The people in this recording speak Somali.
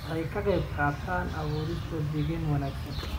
Waxay ka qaybqaataan abuurista deegaan wanaagsan.